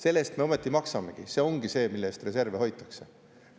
" Selle eest me ometi maksamegi, see ongi see, mille eest reserve hoitakse.